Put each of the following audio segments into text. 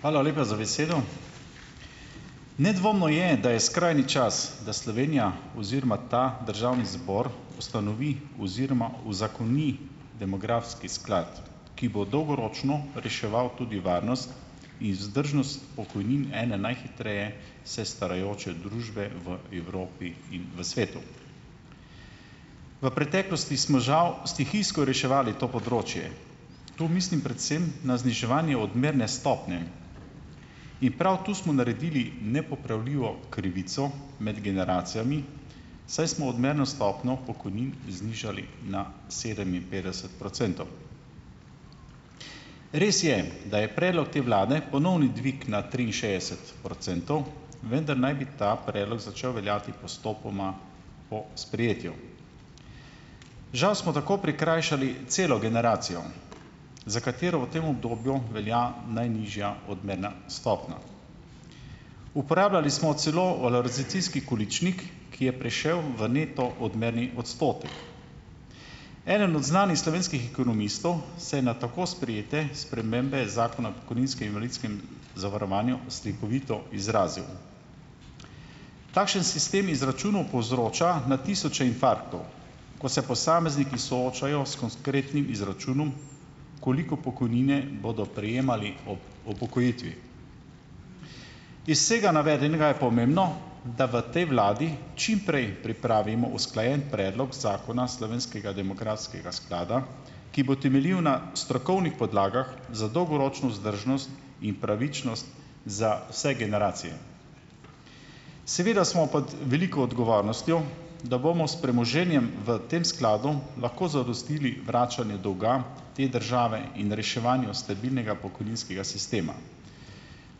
Hvala lepa za besedo. Nedvomno je, da je skrajni čas, da Slovenija oziroma ta državni zbor ustanovi oziroma uzakoni demografski sklad, ki bo dolgoročno reševal tudi varnost in vzdržnost pokojnin ene najhitreje se starajoče družbe v Evropi in v svetu. V preteklosti smo žal stihijsko reševali to področje. Tu mislim predvsem na zniževanje odmerne stopnje. In prav tu smo naredili nepopravljivo krivico med generacijami, saj smo odmerno stopnjo pokojnin znižali na sedeminpetdeset procentov. Res je, da je predlog te vlade ponovni dvig na triinšestdeset procentov, vendar naj bi ta predlog začel veljati postopoma po sprejetju. Žal smo tako prikrajšali celo generacijo, za katero v tem obdobju velja najnižja odmerna stopnja. Uporabljali smo celo valorizacijski količnik, ki je prešel v neto odmerni odstotek. Eden od znanih slovenskih ekonomistov se je na tako sprejete spremembe zakona o pokojninskem in invalidskem zavarovanju slikovito izrazil: "Takšen sistem izračunov povzroča na tisoče infarktov, ko se posamezniki soočajo s konkretnim izračunom, koliko pokojnine bodo prejemali ob upokojitvi." Iz vsega navedenega je pomembno, da v tej vladi čim prej pripravimo usklajen predlog zakona slovenskega demografskega sklada, ki bo temeljil na strokovnih podlagah za dolgoročno vzdržnost in pravičnost za vse generacije. Seveda smo pod veliko odgovornostjo, da bomo s premoženjem v tem skladu lahko zadostili vračanje dolga te države in reševanje stabilnega pokojninskega sistema.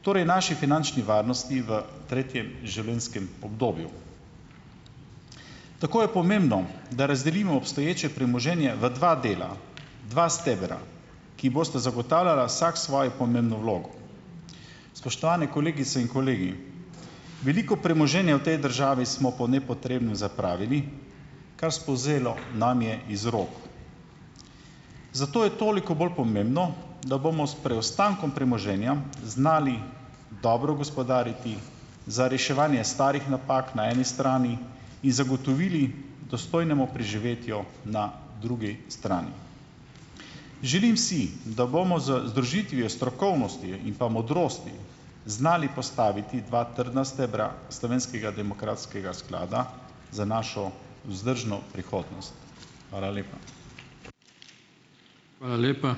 Torej naši finančni varnosti v tretjem življenjskem obdobju. Tako je pomembno, da razdelimo obstoječe premoženje v dva dela, dva stebra, ki bosta zagotavljala vsak svojo pomembno vlogo. Spoštovane kolegice in kolegi, veliko premoženja v tej državi smo po nepotrebnem zapravili, kar spolzelo nam je iz rok. Zato je toliko bolj pomembno, da bomo s preostankom premoženja znali dobro gospodariti; za reševanje starih napak na eni strani in zagotovili dostojnemu preživetju na drugi strani. Želim si, da bomo z združitvijo strokovnosti in pa modrosti znali postaviti dva trdna stebra slovenskega demografskega sklada za našo vzdržno prihodnost. Hvala lepa.